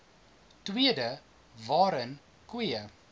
tweede waarin koeie